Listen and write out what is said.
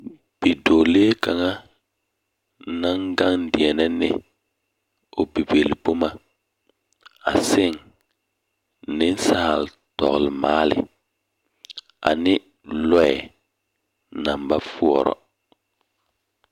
Bidͻͻlee kaŋa naŋ gaŋe deԑnԑ ne o bibilboma aseŋ; nensaa-tͻgelemaale ane lͻԑ naŋ ba poͻrͻ.